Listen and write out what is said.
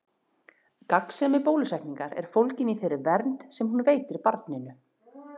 Gagnsemi bólusetningar er fólgin í þeirri vernd sem hún veitir barninu.